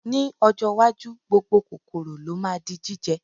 Ní ọjọ́ iwájú, gbogbo kòkòrò ló ma di jíjẹ